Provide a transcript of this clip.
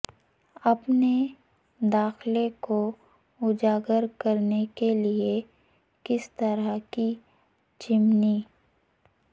اپنے داخلہ کو اجاگر کرنے کے لئے کس طرح کی چمنی